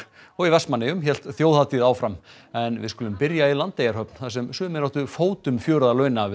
og í Vestmannaeyjum hélt þjóðhátíð áfram en við skulum byrja í Landeyjahöfn þar sem sumir áttu fótum fjör að launa við